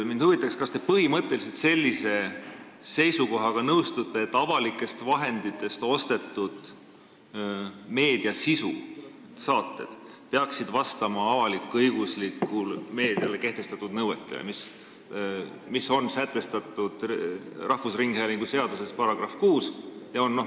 Mind huvitab, kas te põhimõtteliselt nõustute sellise seisukohaga, et avalike vahendite eest ostetud meediasisu ehk saated peaksid vastama avalik-õiguslikule meediale kehtestatud nõuetele, mis on sätestatud Eesti Rahvusringhäälingu seaduse §-s 6.